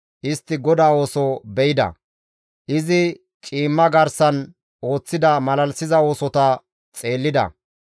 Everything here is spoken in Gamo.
Istti GODAA ooso be7ida; izi ciimma garsan ooththida malalisiza oosota xeellida.